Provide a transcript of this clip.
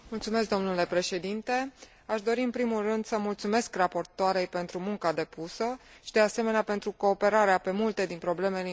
Aș dori, în primul rând, să mulțumesc raportoarei pentru munca depusă și, de asemenea, pentru cooperarea pe multe din problemele importante pentru grupul nostru.